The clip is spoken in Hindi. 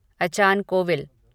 अचान कोविल